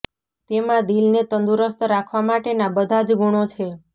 તેમાં દિલને તંદુરસ્ત રાખવા માટેના બધા જ ગુણો છે